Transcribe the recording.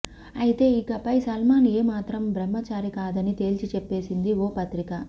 అయితే ఇకపై సల్మాన్ ఏమాత్రం బ్రహ్మచారి కాదని తేల్చి చెప్పేసింది ఓ పత్రిక